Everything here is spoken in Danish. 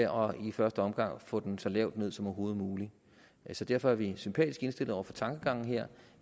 og i første omgang få den så lavt ned som overhovedet muligt derfor er vi sympatisk indstillet over for tankegangen her